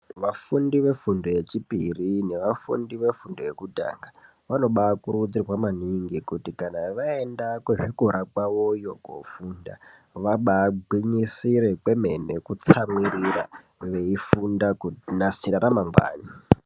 Vafundi vefundo yechipiri nevafundi vefundo yekutanga vanobaakurudzirwa maningi kuti kana vaenda kuchikora kwavoyo koofunda vabaagwinyisire kwemene kutsamwirira veifunda kunasira ramangwani.